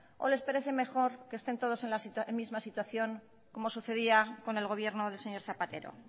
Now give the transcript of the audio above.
o les parece mejor que estén todos en la misma situación como sucedía con el gobierno del señor zapatero